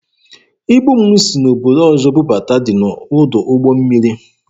Ibu m si n'obodo ọzọ bubata dị n'ọdụ ụgbọ mmiri.